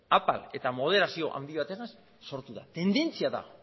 apal eta moderazio handi batekin sortu da tendentzia da